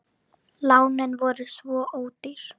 Lánin voru svo ódýr.